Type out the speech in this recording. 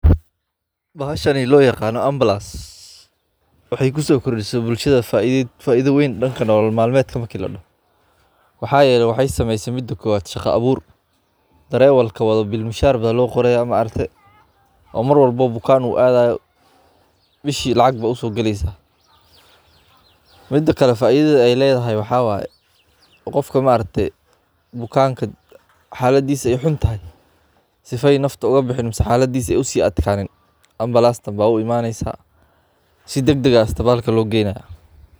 Bashani loo yaqano Ambulance waxay kusoqordise bulshada faidha weyn danka nolol malmedka marki ladaho, waxa yele maxay sameyse midi kowaad shaqo abuur darawalka wado biil mishar Aya loqoraya oo maaragte oo marwalba buuqan uu aadayo bishi lacag Aya usogaleysa, midi kale faidha Aya ledahay maxa waye qofka maaragte buuqanka xaladisa xuntahay sidoo nafta ogabihin amax xaladisa aay usii aadkanin Ambulance baa uimaneysa sii degdeg aah baa hospitaka loo geyna